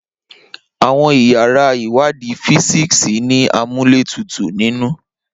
Awọn iyara iwadi fisiksi ni amuletutu ninu